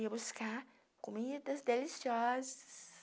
Eu ia buscar comidas deliciosas.